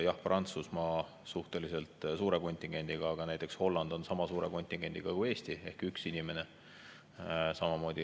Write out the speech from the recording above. Jah, Prantsusmaa on suhteliselt suure kontingendiga, aga näiteks Holland on sama suure kontingendiga kui Eesti ehk ühe inimesega.